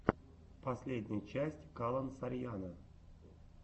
последняя часть калон сарьяно